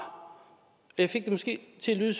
jeg fik det måske til at lyde